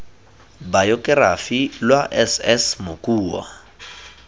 bayokerafi lwa s s mokua